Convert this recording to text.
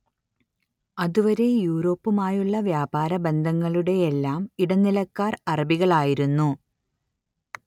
അതുവരെ യൂറോപ്പുമായുളള വ്യാപാര ബന്ധങ്ങളുടെയെല്ലാം ഇടനിലക്കാർ അറബികളായിരുന്നു